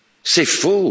C'est faux!